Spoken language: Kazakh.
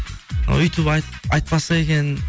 ы өйтіп айтпаса екен